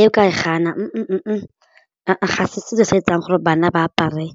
Eo ka e gana ga se setso se etsang gore bana ba apare,